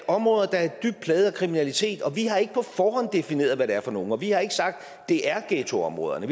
områder der er dybt plaget af kriminalitet og vi har ikke på forhånd defineret hvad det er for nogle og vi har ikke sagt at det er ghettoområderne